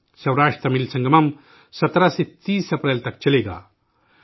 'سوراشٹرتمل سنگمم' 17 سے 30 اپریل تک چلے گا